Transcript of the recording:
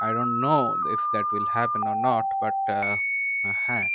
I do not know if that will happen or not but uh হ্যাঁ